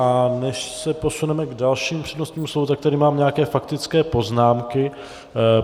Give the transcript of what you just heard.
A než se posuneme k dalším přednostním slovům, tak tady mám nějaké faktické poznámky.